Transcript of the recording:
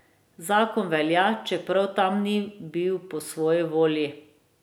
Zakon velja, čeprav tam ni bil po svoji volji.